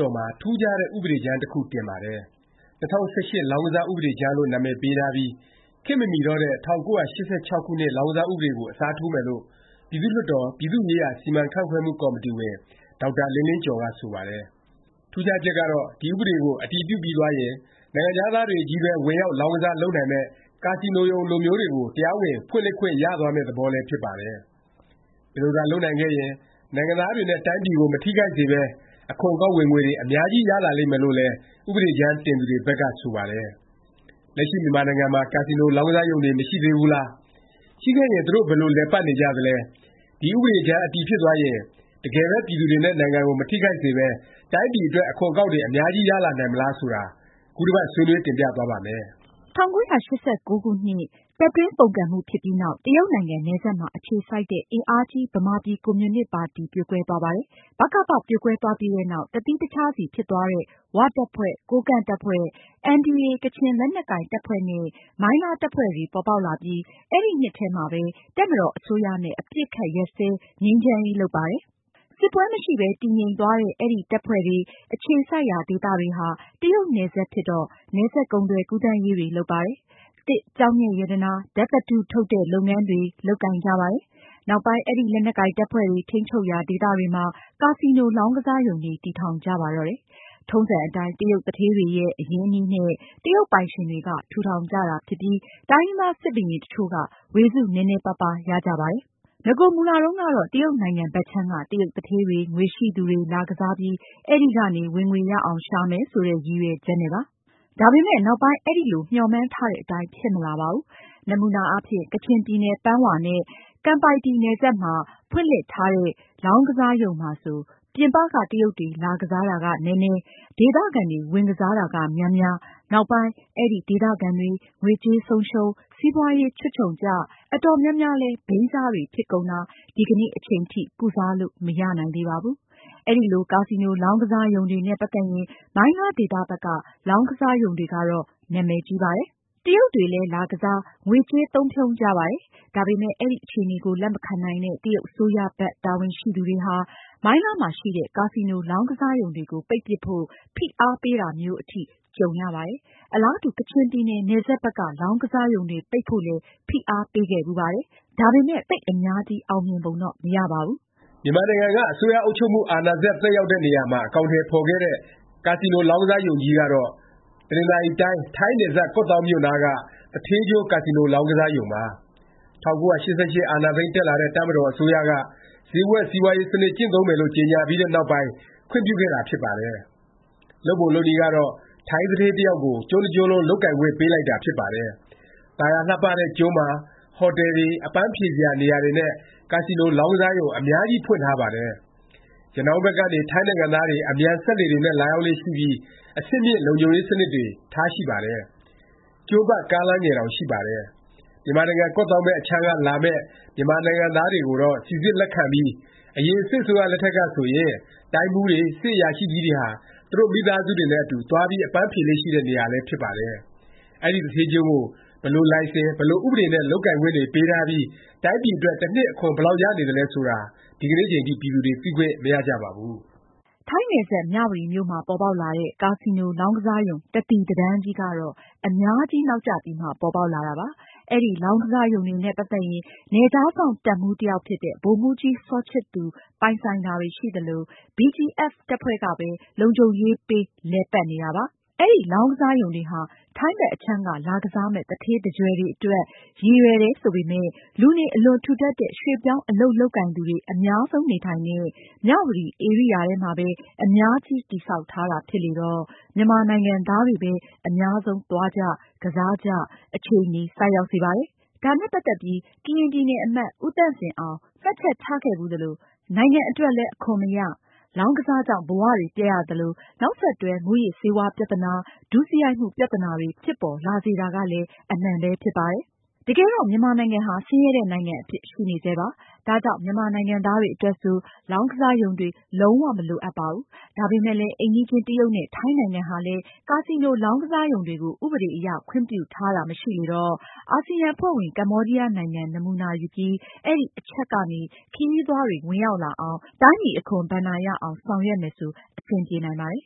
တော်မှာ ထူးခြားတဲ့ ဥပဒေကြမ်းတစ်ခု တင်ပါတယ်။ ၂၀၁၈ လောင်းကစား ဥပဒေကြမ်းလို့ နာမည်ပေးထားပြီး ခေတ်မမီတော့တဲ့ ၁၉၈၆ ခုနှစ် လောင်းကစား ဥပဒေကို အစားထိုးမယ်လို့ ပြည်သူ့လွှတ်တော် ပြည်သူ့ရေးရာ စီမံခန့်ခွဲမှု ကော်မတီဝင် ဒေါက်တာလင်းလင်းကျော်က ဆိုပါတယ်။ ထူးခြားချက်ကတော့ ဒီဥပဒေကို အတည်ပြုပြီးသွားရင် နိုင်ငံခြားသားတွေချည်းပဲ ဝင်ရောက် လောင်းကစားတာ လုပ်နိုင်မယ့် ကာစီနိုရုံ လိုမျိုးတွေကို တရားဝင် ဖွင့်လှစ်ခွင့် ရသွားမယ့် သဘောလည်း ဖြစ်ပါတယ်။ ဒီလိုသာ လုပ်နိုင်ခဲ့ရင် နိုင်ငံသားတွေနဲ့ တိုင်းပြည်ကို မထိခိုက်စေပဲ အခွန်အကောက် ဝင်ငွေတွေ အများကြီး ရလာလိမ့်မယ်လို့လည်း ဥပဒေကြမ်း တင်သူတွေဘက်က ဆိုပါတယ်။ လက်ရှိ မြန်မာနိုင်ငံမှာ ကာစီနို လောင်းကစားရုံတွေ မရှိသေးဘူးလား၊ ရှိခဲ့ရင် သူတို့ ဘယ်လို လည်ပတ်နေကြသလဲ၊ ဒီ ဥပဒေကြမ်း အတည်ဖြစ်သွားရင် တကယ်ပဲ ပြည်သူတွေနဲ့ နိုင်ငံကို မထိခိုက်စေပဲ တိုင်းပြည်အတွက် အခွန်အကောက်တွေ အများကြီး ရလာနိုင်မလား ဆိုတာ ခုတစ်ပတ် ဆွေးနွေး တင်ပြသွားပါ့မယ်။ ၁၉၈၉ ခုနှစ် တပ်တွင်း ပုန်ကန်မှု ဖြစ်ပြီးနောက် တရုတ်နိုင်ငံ နယ်စပ်မှာ အခြေစိုက်တဲ့ အင်အားကြီး ဗမာပြည်ကွန်မြူနစ် ပါတီ ပြိုကွဲသွားပါတယ်။ ဗကပ ပြိုကွဲသွားပြီးတဲ့နောက် တစ်သီးတစ်ခြားစီ ဖြစ်သွားတဲ့ ၀ တပ်ဖွဲ့၊ ကိုးကန့် တပ်ဖွဲ့၊ NDA ကချင်လက်နက်ကိုင် တပ်ဖွဲ့နဲ့ မိုင်းလားတပ်ဖွဲ့တွေ ပေါ်ပေါက်လာပြီး အဲဒီနှစ်ထဲမှာပဲ တပ်မတော် အစိုးရနဲ့ အပစ်အခတ် ရပ်စဲ ငြိမ်းချမ်းရေး လုပ်ပါတယ်။ စစ်ပွဲ မရှိပဲ တည်ငြိမ်သွားတဲ့ အဲဒီ တပ်ဖွဲ့တွေ အခြေစိုက်ရာ ဒေသတွေဟာ တရုတ်နယ်စပ်ဖြစ်တော့ နယ်စပ် ကုန်သွယ် ကူးသန်းရေးတွေ လုပ်ပါတယ်။ သစ်၊ ကျောက်မျက်ရတနာ၊ဓာတ်သတ္တု ထုတ်တဲ့ လုပ်ငန်းတွေ လုပ်ကိုင်ကြပါတယ်။ နောက်ပိုင်း အဲဒီ လက်နက်ကိုင် တပ်ဖွဲ့တွေ ထိန်းချုပ်ရာ ဒေသတွေမှာ ကာစီနို လောင်းကစားရုံတွေ တည်ထောင်ကြပါတော့တယ်။ ထုံးစံအတိုင်း တရုတ်သူဌေးတွေရဲ့ အရင်းအနှီးနဲ့ တရုတ်ပိုင်ရှင်တွေက ထူထောင်ကြတာ ဖြစ်ပြီး တိုင်းရင်းသား စစ်ဘုရင် တစ်ချို့က ဝေစုနည်းနည်းပါးပါး ရကြပါတယ်။ နဂိုမူလ တုန်းကတော့ တရုတ်နိုင်ငံဘက်ခြမ်းက တရုတ်သူဌေးတွေ၊ ငွေရှိသူတွေ လာကစားပြီး အဲဒီကနေ ဝင်ငွေရအောင် ရှာမယ် ဆိုတဲ့ ရည်ရွယ်ချက်နဲ့ပါ။ ဒါပေမယ့် နောက်ပိုင်း အဲလို မျှော်မှန်းတဲ့အတိုင်း ဖြစ်မလာပါဘူး။ နမူနာ အားဖြင့် ကချင်ပြည်နယ် ပန်ဝါနဲ့ ကမ်ပိုင်တီ နယ်စပ်မှာ ဖွင့်လှစ်လိုက်တဲ့ လောင်းကစားရုံမှာဆို ပြင်ပက တရုတ်တွေ လာကစားတာ နည်းနည်း ဒေသခံတွေ ဝင်ကစားတာ များများ၊ နောက်ပိုင်း အဲဒီ ဒေသခံတွေ ငွေကြေးဆုံးရှုံး၊ စီးပွားရေး ချွတ်ခြုံကျ၊ အတော်များများလည်း ဘိန်းစားတွေ ဖြစ်ကုန်တာ ဒီကနေ့အချိန်ထိ ကုစားလို့ မရနိုင်သေးပါဘူး။ အဲလို ကာစီနို လောင်းကစားကစားရုံတွေနဲ့ ပတ်သက်ရင် မိုင်းလားဒေသ ဘက်က လောင်းကစားရုံတွေကတော့ နာမည်ကြီးပါတယ်။ တရုတ်တွေလည်း လာကစား၊ ငွေကြေးသုံးဖြုန်းကြပါတယ်။ ဒါပေမယ့် အဲဒီအခြေအနေကို လက်မခံနိုင်တဲ့ တရုတ် အစိုးရဘက် တာဝန်ရှိသူတွေဟာ မိုင်းလားမှာရှိတဲ့ ကာစီနို လောင်းကစားရုံတွေကို ပိတ်ပြစ်ဖို့ ဖိအားပေးတာမျိုး အထိ ကြုံရပါတယ်။ အလားတူ ကချင်ပြည်နယ် နယ်စပ်ဘက်က လောင်းကစားရုံတွေ ပိတ်ဖို့လည်း ဖိအားပေးခဲ့ဘူးပါတယ်။ ဒါပေမယ့် သိပ်အများကြီး အောင်မြင်ပုံတော့ မရပါဘူး။ မြန်မာနိုင်ငံက အစိုးရအုပ်ချုပ်မှု အာဏာစက် သက်ရောက်တဲ့ နေရာမှာ အကောင်အထည် ဖော်ခဲ့တဲ့ ကာစီနို လောင်းကစားရုံကြီးကတော့ တနင်္သာရီတိုင်း ထိုင်းနယ်စပ် ကော့သောင်းမြို့နားက သူဌေးကျွန်း ကာစီနို လောင်းကစားရုံပါ။ ၁၉၈၈ အာဏာသိမ်းတက်လာတဲ့ တပ်မတော် အစိုးရက ဈေးကွက်စီးပွားရေး စနစ် ကျင့်သုံးမယ်လို့ ကြေငြာပြီးတဲ့နောက်ပိုင်း ခွင့်ပြုခဲ့တာ ဖြစ်ပါတယ်။ လုပ်ပုံ လုပ်နည်းကတော့ ထိုင်းသူဌေး တစ်ယောက်ကို ကျွန်းတစ်ကျွန်းလုံး လုပ်ကိုင်ခွင့် ပေးလိုက်တာ ဖြစ်ပါတယ်။ သာယာလှပတဲ့ ကျွန်းမှာ ဟော်တယ်တွေ၊ အပန်းဖြေစရာနေရာတွေနဲ့ ကာစီနို လောင်းကစားရုံ အများကြီး ဖွင့်ထားပါတယ်။ ရနောင်းဘက်ကနေ ထိုင်းနိုင်ငံသားတွေ အမြန်စက်လှေတွေနဲ့ လာရောက်လေ့ရှိပြီး အဆင့်မြင့် လုံခြုံရေး စနစ်တွေ ထားရှိပါတယ်။ ကျွန်းပတ် ကားလမ်းငယ်တောင် ရှိပါတယ်။ မြန်မာနိုင်ငံ ကော့သောင်းဘက်အခြမ်းက လာမယ့် မြန်မာနိုင်ငံသားတွေကိုတော့ စိစစ် လက်ခံပြီး အရင် စစ်အစိုးရ လက်ထက်ကဆိုရင် တိုင်းမှူးတွေ၊ စစ်အရာရှိကြီးတွေဟာ သူတို့ မိသားစုတွေနဲ့ အတူ သွားပြီး အပန်းဖြေလေ့ ရှိတဲ့ နေရာလည်း ဖြစ်ပါတယ်။ အဲဒီ သူဌေးကျွန်းကို ဘယ်လို လိုင်စင်၊ဘယ်လို ဥပဒေနဲ့ လုပ်ကိုင်ခွင့်တွေ ပေးထားပြီး တိုင်းပြည်အတွက် တစ်နှစ် အခွန်ဘယ်လောက် ရနေသလဲ ဆိုတာကိုတော့ ဒီနေ့အချိန်ထိ ပြည်သူတွေ သိခွင့် မရကြပါဘူး။ ထိုင်းနယ်စပ် မြဝတီမြို့မှာ ပေါ်ပေါက်လာတဲ့ ကာစီနို လောင်းကစားရုံ တစ်သီတစ်တန်းကြီး ကတော့ အများကြီး နောက်ကျပြီးမှ ပေါ်ပေါက်လာတာပါ။ အဲဒီ လောင်းကစားရုံတွေနဲ့ ပတ်သက်ရင် နယ်ခြားစောင့်တပ်မှူး တစ်ယောက်ဖြစ်တဲ့ ဗိုလ်မှူးကြီး စောချစ်သူ ပိုင်ဆိုင်တာတွေ ရှိသလို၊ BGF တပ်ဖွဲ့ကပဲ လုံခြုံရေးပေး လည်ပတ်နေတာပါ။ အဲဒီလောင်းကစားရုံတွေဟာ ထိုင်းဘက် အခြမ်းက လာကစားမယ့် သူဌေးသူကြွယ်တွေအတွက် ရည်ရွယ်တယ် ဆိုပေမယ့် လူနေ အလွန်ထူထပ်တဲ့၊ ရွှေ့ပြောင်း အလုပ်လုပ်ကိုင်သူတွေ အများဆုံး နေထိုင်တဲ့ မြဝတီ ဧရိယာထဲမှာပဲ အများကြီး တည်ဆောက်ထားတာ ဖြစ်လေတော့ မြန်မာနိုင်ငံသားတွေပဲ အများဆုံး သွားကြ၊ ကစားကြ အခြေအနေ ဆိုက်ရောက်စေပါတယ်။ ဒါနဲ့ပတ်သက်ပြီး ကရင်ပြည်နယ် အမတ် ဦးသန့်စင်အောင် မှတ်ချက်ချခဲ့ဖူးသလို နိုင်ငံအတွက်လည်း အခွန်မရ၊ လောင်းကစားကြောင့် ဘဝတွေ ပျက်ရသလို၊ နောက်ဆက်တွဲ မူးယစ်ဆေးဝါး ပြသနာ၊ ဒုစရိုက်မှု ပြသနာတွေ ဖြစ်ပေါ်လာစေတာကလည်း အမှန်ပဲ ဖြစ်ပါတယ်။ တကယ်တော့ မြန်မာနိုင်ငံဟာ ဆင်းရဲတဲ့ နိုင်ငံအဖြစ် ရှိနေဆဲပါ။ ဒါကြောင့် မြန်မာနိုင်ငံသားတွေ အတွက်ဆို လောင်းကစားရုံတွေ လုံး၀ မလိုအပ်ပါဘူး။ ဒါပေမယ့်လည်း အိမ်နီးချင်း တရုတ်နဲ့ ထိုင်းနိုင်ငံဟာလည်း ကာစီနို လောင်းကစားရုံတွေကို ဥပဒေအရ ခွင့်ပြုထားတာ မရှိလေတော့ အာစီယံ အဖွဲ့ဝင် ကမ္ဘောဒီးယားနိုင်ငံ နမူနာယူပြီး အဲဒီ အချက်ကနေ ခရီးသွားတွေ ဝင်ရောက်လာအောင်၊ တိုင်းပြည် အခွန်ဘဏ္ဍာရအောင် ဆောင်ရွက်မယ်ဆို အဆင်ပြေနိုင်ပါတယ်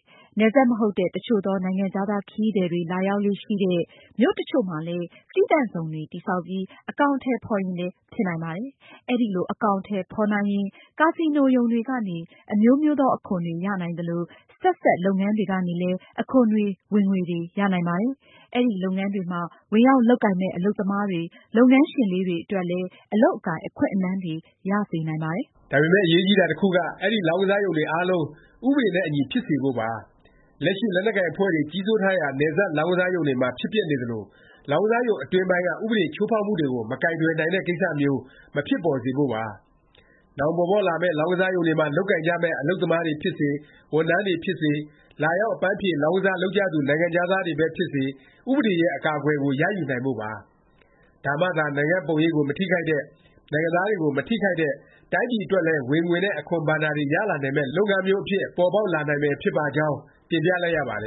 ။ နယ်စပ်မဟုတ်တဲ့ တစ်ချို့သော နိုင်ငံခြားသား ခရီးသည်တွေ လာရောက်လေ့ရှိတဲ့ မြို့တစ်ချို့မှာလည်း သီးသန့်ဇုံတွေ တည်ဆောက်ပြီး အကောင်အထည် ဖော်ရင်လည်း ဖြစ်နိုင်ပါတယ်။ ဒီလို အကောင်အထည် ဖော်နိုင်ရင် ကာစီနိုရုံတွေကနေ အမျိုးမျိုးသော အခွန်တွေ ရနိုင်သလို၊ ဆက်စပ် လုပ်ငန်းတွေကနေလည်း အခွန်တွေ ဝင်ငွေတွေ ရနိုင်ပါတယ်။ အဲဒီ လုပ်ငန်းတွေမှာ ဝင်ရောက်လုပ်ကိုင်မယ့် အလုပ်သမားတွေ၊ လုပ်ငန်းရှင်လေးတွေ အတွက်လည်း အလုပ်ကိုင် အခွင့်အလမ်းတွေ ရစေနိုင်ပါတယ်။ ဒါပေမယ့် အရေးကြီးတာ တစ်ခုက အဲဒီ လောင်းကစားရုံတွေအားလုံး ဥပဒေနဲ့အညီ ဖြစ်စေဖို့ပါ။ လက်ရှိ လက်နက်ကိုင်အဖွဲ့တွေ ကြီးစိုးထားရာ နယ်စပ် လောင်းကစားရုံတွေမှာ ဖြစ်ပျက်နေသလို လောင်းကစားရုံ အတွင်းပိုင်းက ဥပဒေချိုးဖေါက်မှုတွေကို မကိုင်တွယ်နိုင်တဲ့ ကိစ္စမျိုး မဖြစ်ပေါ်စေဖို့ပါ။ နောင်ပေါ်ပေါက်လာမယ့် လောင်းကစားရုံတွေမှာ လုပ်ကိုင်ကြမယ့် အလုပ်သမားတွေဖြစ်စေ၊ ဝန်ထမ်းတွေ ဖြစ်စေ၊ လာရောက် အပန်းဖြေ လောင်းကစား လုပ်ကြသူ နိုင်ငံခြားသားတွေပဲ ဖြစ်စေ၊ ဥပဒေရဲ့ အကာအကွယ်ကို ရယူနိုင်ဖို့ပါ။ ဒါမှသာ နိုင်ငံ့ပုံရိပ်ကို မထိခိုက်တဲ့၊ နိုင်ငံသားတွေကို မထိခိုက်တဲ့ တိုင်းပြည်အတွက်လည်း ဝင်ငွေနဲ့ အခွန်ဘဏ္ဍာတွေ ရလာနိုင်မယ့် လုပ်ငန်းမျိုးအဖြစ် ပေါ်ပေါက်လာနိုင်မယ် ဖြစ်ပါကြောင်း တင်ပြလိုက်ရပါတ